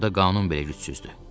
Burada qanun belə gücsüzdür.